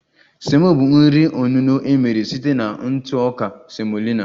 Semo bụ nri onuno emere site na ntụ ọka semolina